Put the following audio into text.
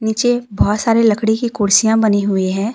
नीचे बहुत सारी लकड़ी की कुर्सियां बनी हुई है।